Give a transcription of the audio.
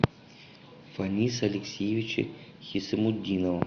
фаниса алексеевича хисамутдинова